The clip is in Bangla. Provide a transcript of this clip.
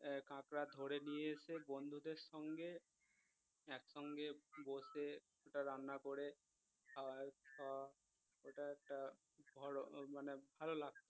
আহ কাঁকড়া ধরে নিয়ে এসে বন্ধুদের সঙ্গে একসঙ্গে বসে রান্না করে খাওয়া খাওয়া এটা একটা ধরো মানে ভাল লাগতো